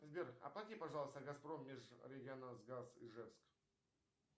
сбер оплати пожалуйста газпром межрегионалгаз ижевск